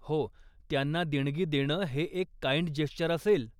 हो, त्यांना देणगी देणं हे एक काइंड जेस्चर होईल.